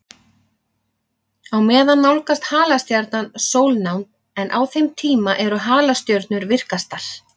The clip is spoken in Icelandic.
Á meðan nálgast halastjarnan sólnánd, en á þeim tíma eru halastjörnur virkastar.